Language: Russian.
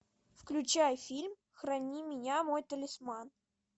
включай фильм храни меня мой талисман